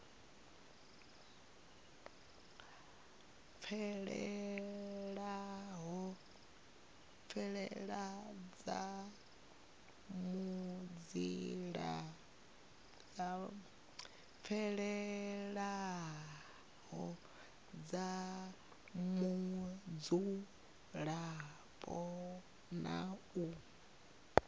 fhelelaho dza mudzulapo na u